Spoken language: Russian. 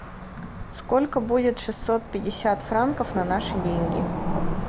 сколько будет шестьсот пятьдесят франков на наши деньги